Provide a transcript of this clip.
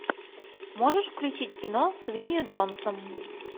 можешь включить кино с винни джонсом